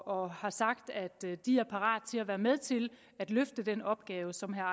og har sagt at de er parate til at være med til at løfte den opgave som herre